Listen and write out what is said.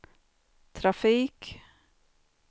trafik